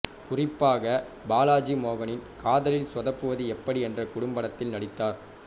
குறிப்பாக பாலாஜி மோகனின் காதலில் சொதப்புவது எப்படி என்ற குறும்படத்தில் நடித்தார்